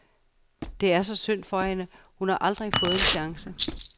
Det er så synd for hende, hun har aldrig fået en chance.